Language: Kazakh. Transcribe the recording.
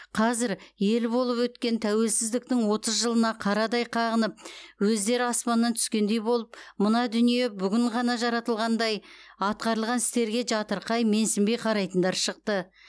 қазір ел болып өткен тәуелсіздіктің отыз жылына қарадай қағынып өздері аспаннан түскендей болып мына дүние бүгін ғана жаратылығандай атқарылған істерге жатырқай менсінбей қарайтындар шықты